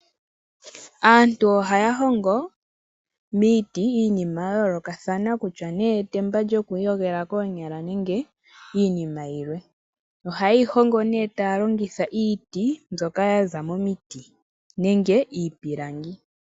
Aantu ohaya hongo miiti iinima yayoolokathana, kutya nee etemba lyoku iyogela koonyala nenge iinima yilwe, ohaye yi hongo nee taya longitha iiti mbyoka ya za momiti nenge iipilangi.